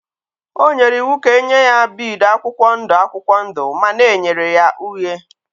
O nyere iwu ka e nye ya bead akwụkwọ ndụ akwụkwọ ndụ mana e nyere ya uhie.